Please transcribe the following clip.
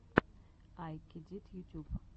ай кедит ютюб